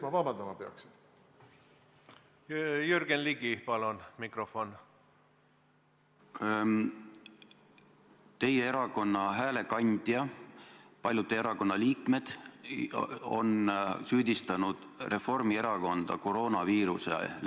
Ma väga vabandan, ilmselt teatud, ma ei oska öelda, ealisest eriolukorrast tulenevalt ma ei kuulnud, mida inetut on öeldud.